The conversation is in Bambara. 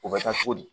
O bɛ taa cogo di